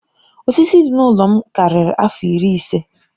Osisi dị n'ụlọ m karịrị afọ iri ise.